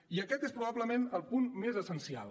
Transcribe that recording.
i aquest és probablement el punt més essencial